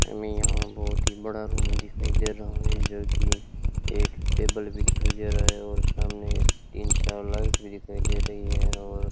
हमे यहां बहोत ही बड़ा रूम दिखाई दे रहा है जोकि एक टेबल भी दिखाई दे रहा है और सामने तीन चार लाइट भी दिखाई दे रही है और --